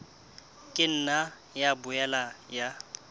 ka nna ya boela ya